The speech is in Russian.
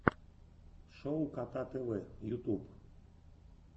шоу кота тв ютуб